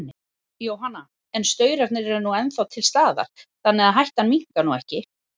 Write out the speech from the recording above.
Jóhanna: En staurarnir eru nú ennþá til staðar, þannig að hættan minnkar nú ekki?